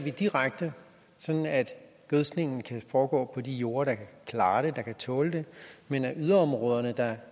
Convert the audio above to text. vi direkte sådan at gødskningen kan foregå på de jorder der kan klare det der kan tåle det men at de yderområder